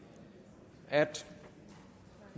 at